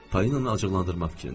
Polinanı acıqlandırmaq fikrində idim.